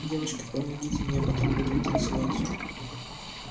девочки помогите мне а потом будем танцевать